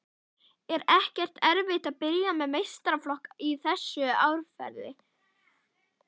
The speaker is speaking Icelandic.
Er ekkert erfitt að byrja með meistaraflokk í þessu árferði?